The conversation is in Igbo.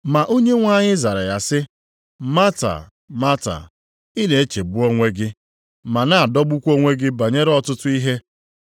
Ma Onyenwe anyị zara ya sị, “Mata, Mata, ị na-echegbu onwe gị ma na-adọgbukwa onwe gị banyere ọtụtụ ihe,